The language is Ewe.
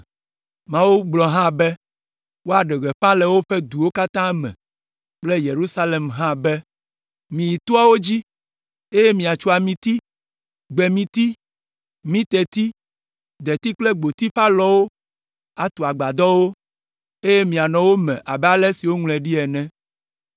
Mawu gblɔ hã be, woaɖe gbeƒã le woƒe duwo katã me kple Yerusalem hã be, “Miyi toawo dzi, eye miatso amiti, gbemiti, mirteti, deti kple gboti ƒe alɔwo atu agbadɔwo, eye mianɔ wo me abe ale si woŋlɔe ɖi ene.”